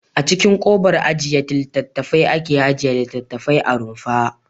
A cikin kobar ajiye littattafai ake ajiye littattafai a rumfa.